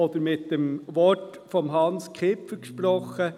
Oder mit dem Wort von Hans Kipfer gesprochen: